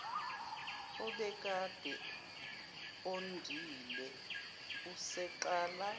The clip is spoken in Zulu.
obekade ondile eseqala